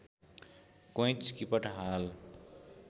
कोइँच किपट हाल